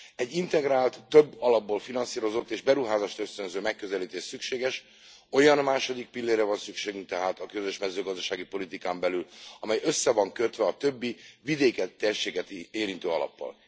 Egy integrált, több alapból finanszírozott és beruházásösztönző megközelítés szükséges, olyan második pillérre van szükségünk tehát a közös mezőgazdasági politikán belül, amely össze van kötve a többi vidéket is érintő alappal.